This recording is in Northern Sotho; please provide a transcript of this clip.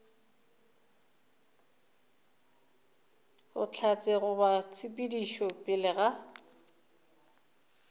bohlatse goba tshedimošo pele ga